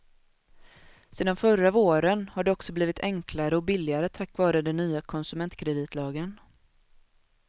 Sedan förra våren har det också blivit enklare och billigare tack vare den nya konsumentkreditlagen.